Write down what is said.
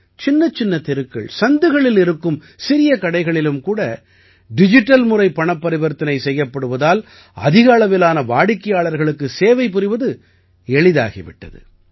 சின்னச்சின்ன தெருக்கள்சந்துகளில் இருக்கும் சிறிய கடைகளிலும் கூட டிஜிட்டல் முறை பணப்பரிவர்த்தனை செய்யப்படுவதால் அதிக அளவிலான வாடிக்கையாளர்களுக்குச் சேவை புரிவது எளிதாகி விட்டது